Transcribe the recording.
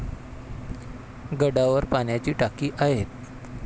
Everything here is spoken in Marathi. गडावर पाण्याची टाकी आहेत.